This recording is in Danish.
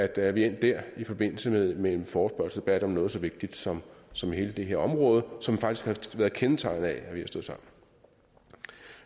at vi er endt der i forbindelse med med en forespørgselsdebat om noget så vigtigt som som hele det her område som faktisk har været kendetegnet ved